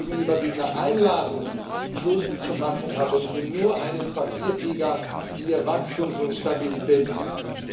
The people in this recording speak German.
Gegenüber dieser Einladung, Schulden zu machen, haben Sie nur einen Papiertiger ihren Wachstums und Stabilitätspakt.